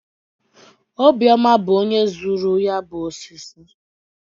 Obiọma bụ onye zụrụ ya bụ osisi